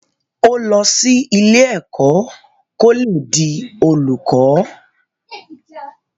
Ó lọ sí ilé ẹ̀kọ́ kó le di olùkọ́